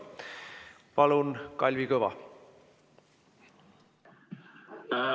Palun Kalvi Kõva!